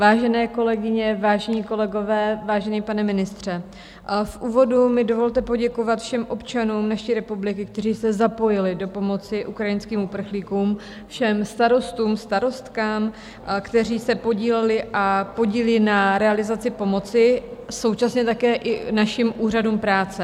Vážené kolegyně, vážení kolegové, vážený pane ministře, v úvodu mi dovolte poděkovat všem občanům naší republiky, kteří se zapojili do pomoci ukrajinským uprchlíkům, všem starostům, starostkám, kteří se podíleli a podílí na realizaci pomoci, současně také i našim úřadům práce.